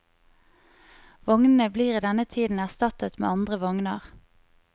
Vognene blir i denne tiden erstattet med andre vogner.